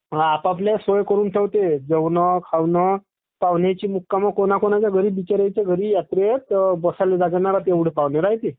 आप आपल्या सोया करून ठेवते जेवण खवणं, पाहुण्याचं मुक्काम कोणाकोणाचा घरी बिचारायचा घरी एवढी गर्दी रायते बसले जागा नाही राहत एवढे पाहुणे येते.